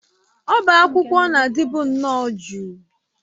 Ọbá akwụkwọ na-adịbu nnọọ jụụ.